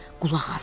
Qulaq as!